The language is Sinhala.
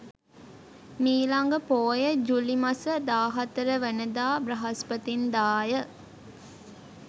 මීළඟ පෝය ජූලි මස 14 වනදා බ්‍රහස්පතින්දා ය.